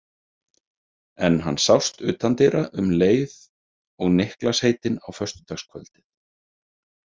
En hann sást utan dyra um leið og Niklas heitinn á föstudagskvöldið.